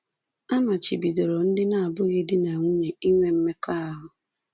A machibidoro ndị na-abụghị di na nwunye inwe mmekọahụ.